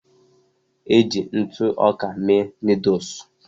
Eji ntụ ọka mee noodul.